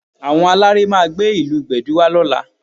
Àwọn aláré máa gbé ìlù Gbẹ̀du wá lọ́la